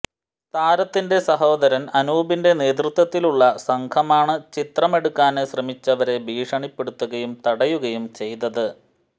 താരത്തിന്റെ സഹോദരന് അനൂപിന്റെ നേതൃത്വത്തിലുള്ള സംഘമാണ്ചിത്രമെടുക്കാന് ശ്രമിച്ചവരെ ഭീഷണിപ്പെടുത്തുകയും തടയുകയും ചെയ്തത്